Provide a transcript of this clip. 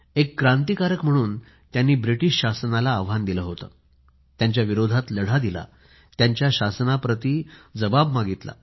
एक क्रांतिकारक म्हणून त्यांनी ब्रिटीश शासनाला आव्हान दिलं त्यांच्या विरोधात लढा दिला त्यांच्या शासनाप्रती जबाब मागितला